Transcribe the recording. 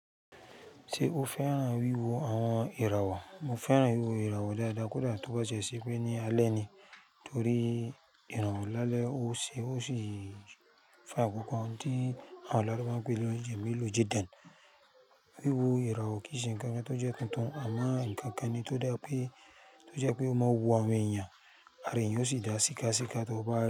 Ṣé o fẹ́ràn wíwo àwọn ìràwọ̀? Mo fẹ́ràn wíwo ìràwọ̀ dáadáa kódà tó bá jẹ́ ṣẹ́ pé ní alẹ́ ni, torí ìràwọ̀ lálẹ́ ó ṣe ó sì fàkókò tí àwọn ọlọ́rọ̀ máa ń pè ní oúnjẹ mélòó jí dọ̀n. Wíwo ìràwọ̀ kì í ṣe ǹkan kan tó jẹ́ tuntun, àmọ́ ǹkan kan ni tó dá pé, tó jẹ́ pé ó máa wo àwọn èèyàn, àra eeyanbyóò sì dá síká síká tí ó bá lọ.